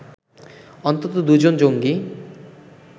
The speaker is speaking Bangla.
অন্তত দু’জন জঙ্গি